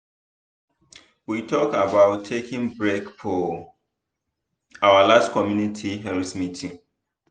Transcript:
we talk about taking break for our last community health meeting.